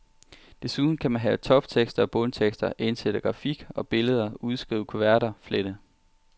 Desuden kan man lave toptekster og bundtekster, indsætte grafik og billeder, udskrive kuverter, flette.